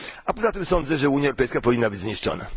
Poza tym sądzę, że Unia Europejska powinna być zniszczona.